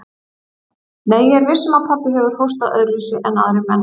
Nei, ég er viss um að pabbi hefur hóstað öðruvísi en aðrir menn.